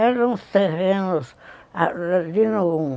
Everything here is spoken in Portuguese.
Eram os terrenos de Nogum.